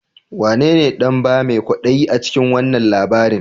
Wanene dabba mai kwadayi a cikin wannan labarin?